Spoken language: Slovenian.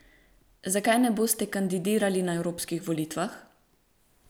Zakaj ne boste kandidirali na evropskih volitvah?